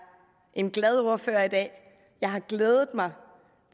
en glad ordfører i dag jeg har glædet mig